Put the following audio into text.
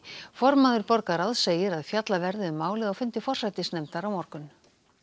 formaður borgarráðs segir að fjallað verði um málið á fundi forsætisnefndar á morgun